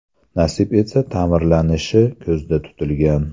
Nasib etsa ta’mirlanishi ko‘zda tutilgan.